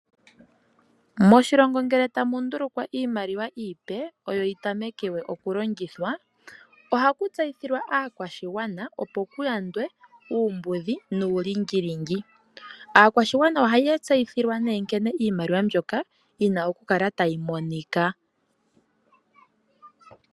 Moshilongo ngele tamu ndulukwa iimaliwa iipe oyp yitameke okulongithwa ohaku tseyithilwa aakwashigwana opo kuyandwe uumbudhi nuulingilingi. Aakwashigwana ohaya tseyithilwa nee nkene iimaliwa yina okukala tayi monika.